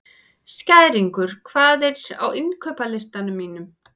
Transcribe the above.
Skæringur, hvað er á innkaupalistanum mínum?